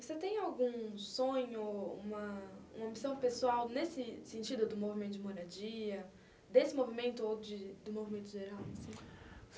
E você tem algum sonho, uma uma missão pessoal nesse sentido do movimento de moradia, desse movimento ou de do movimento geral assim?